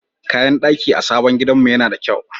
Kayan daki a sabon gidanmu yana da kyau.